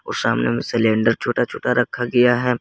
वो सामने में सिलेंडर छोटा छोटा रखा गया है।